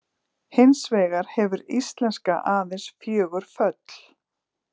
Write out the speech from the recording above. Hins vegar hefur íslenska aðeins fjögur föll.